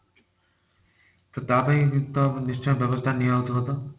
ତ ତା ପାଇଁ ତ ନିଶ୍ଚୟ ଟା ନିଆ ହଉଥିବ ତ?